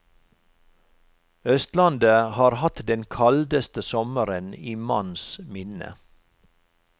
Østlandet har hatt den kaldeste sommeren i manns minne.